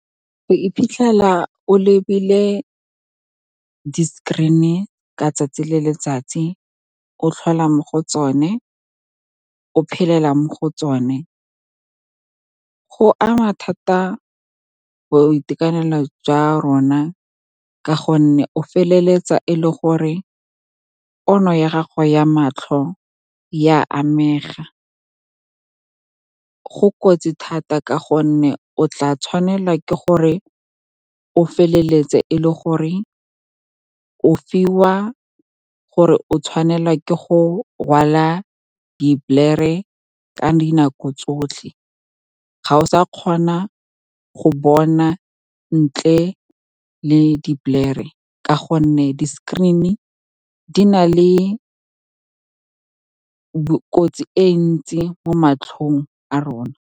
Go iphitlhela o lebile di-screen-e ka tsatsi le letsatsi, o tlhola mo go tsone, o phelela mo go tsone, go ama thata boitekanelo jwa rona ka gonne o feleletsa e le gore pono ya gago ya matlho ya amega go kotsi thata. Ka gonne o tla tshwanela ke gore o feleletse e le gore o fiwa or-e o tshwanelwa ke go rwala di ka dinako tsotlhe, ga o sa kgona go bona ntle le , ka gonne di-screen-e di na le kotsi e ntsi mo matlhong a rona.